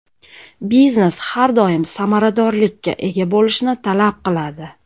Biznes har doim samaradorlikka ega bo‘lishni talab qiladi.